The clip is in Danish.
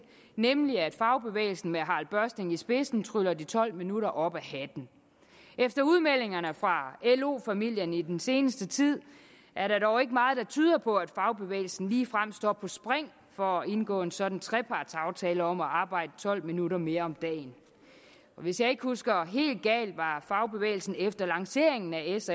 nemlig at fagbevægelsen med harald børsting i spidsen tryller de tolv minutter op af hatten efter udmeldingerne fra lo familierne i den seneste tid er der dog ikke meget der tyder på at fagbevægelsen ligefrem står på spring for at indgå en sådan trepartsaftale om at arbejde tolv minutter mere om dagen hvis jeg ikke husker helt galt var fagbevægelsen efter lanceringen af s